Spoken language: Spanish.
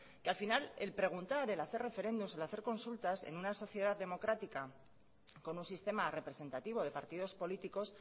que al final el preguntar el hacer referéndums el hacer consultas en una sociedad democrática con un sistema representativo de partidos políticos